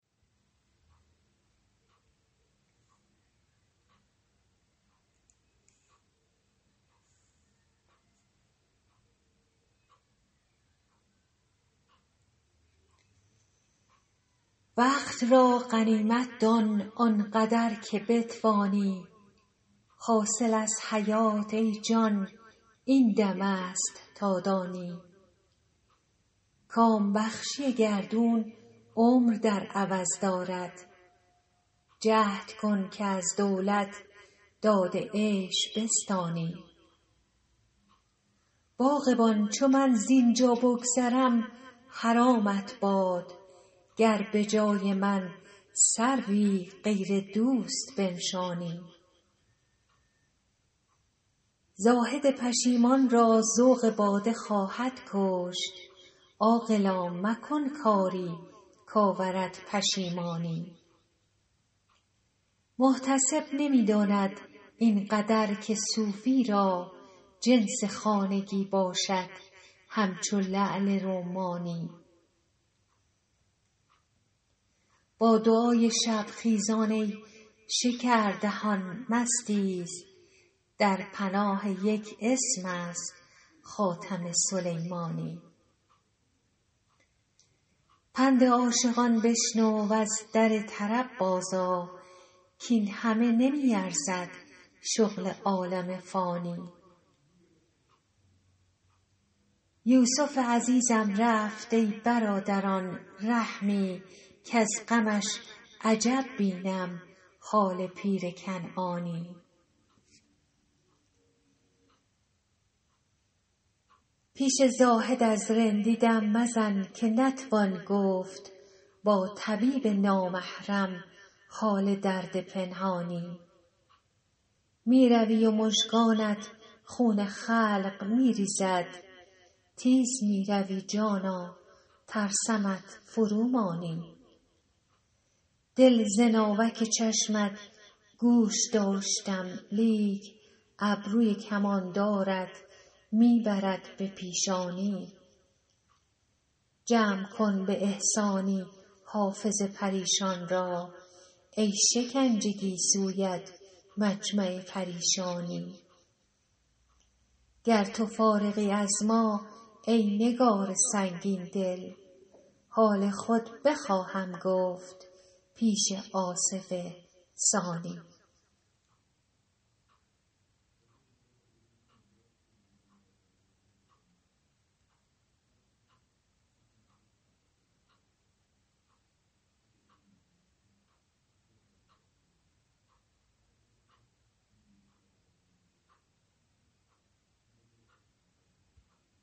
وقت را غنیمت دان آن قدر که بتوانی حاصل از حیات ای جان این دم است تا دانی کام بخشی گردون عمر در عوض دارد جهد کن که از دولت داد عیش بستانی باغبان چو من زین جا بگذرم حرامت باد گر به جای من سروی غیر دوست بنشانی زاهد پشیمان را ذوق باده خواهد کشت عاقلا مکن کاری کآورد پشیمانی محتسب نمی داند این قدر که صوفی را جنس خانگی باشد همچو لعل رمانی با دعای شب خیزان ای شکردهان مستیز در پناه یک اسم است خاتم سلیمانی پند عاشقان بشنو و از در طرب بازآ کاین همه نمی ارزد شغل عالم فانی یوسف عزیزم رفت ای برادران رحمی کز غمش عجب بینم حال پیر کنعانی پیش زاهد از رندی دم مزن که نتوان گفت با طبیب نامحرم حال درد پنهانی می روی و مژگانت خون خلق می ریزد تیز می روی جانا ترسمت فرومانی دل ز ناوک چشمت گوش داشتم لیکن ابروی کماندارت می برد به پیشانی جمع کن به احسانی حافظ پریشان را ای شکنج گیسویت مجمع پریشانی گر تو فارغی از ما ای نگار سنگین دل حال خود بخواهم گفت پیش آصف ثانی